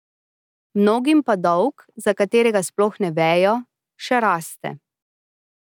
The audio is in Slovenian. Mnogim pa dolg, za katerega sploh ne vejo, še raste.